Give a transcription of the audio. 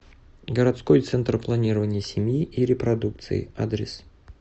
городской центр планирования семьи и репродукции адрес